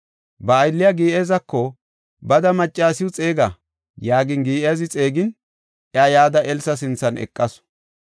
Ba aylliya Giyaazako, “Bada maccasiw xeega” yaagin, Giyaazi xeegin, iya yada Elsa sinthan eqasu.